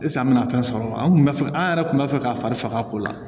an bɛna fɛn sɔrɔ an kun b'a fɛ an yɛrɛ tun b'a fɛ ka fari faga ko la